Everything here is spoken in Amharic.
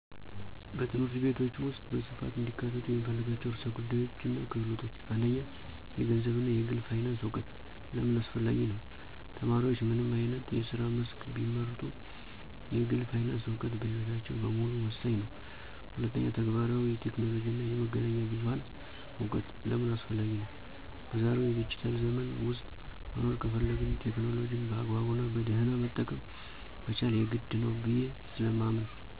በትምህርት ቤቶች ውስጥ በስፋት እንዲካተቱ የምፈልጋቸው ርዕሰ ጉዳዮችና ክህሎቶች፦ 1. የገንዘብ እና የግል ፋይናንስ እውቀት * ለምን አስፈላጊ ነው? ተማሪዎች ምንም አይነት የስራ መስክ ቢመርጡ፣ የግል ፋይናንስ እውቀት በሕይወታቸው በሙሉ ወሳኝ ነው። 2. ተግባራዊ የቴክኖሎጂ እና የመገናኛ ብዙሃን እውቀት * ለምን አስፈላጊ ነው? በዛሬው ዲጂታል ዘመን ውስጥ መኖር ከፈለግን፣ ቴክኖሎጂን በአግባቡና በደህና መጠቀም መቻል የግድ ነው ብየ ስለማምን።